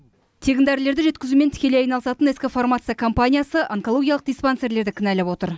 тегін дәрілерді жеткізумен тікелей айналысатын ск фармация компаниясы онкологиялық диспансерлерді кінәлап отыр